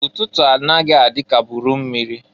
Ụtụtụ a naghị adị ka buru mmịrị.